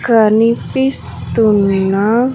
కనిపిస్తున్న.